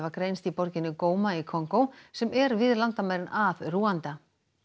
greinst í borginni í Kongó sem er við landamærin að Rúanda